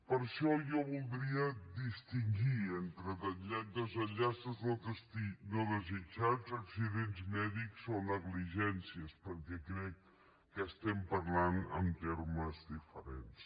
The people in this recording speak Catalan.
per això jo voldria distingir entre desenllaços no desitjats accidents mèdics o negligències perquè crec que estem parlant en termes diferents